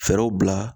Fɛɛrɛw bila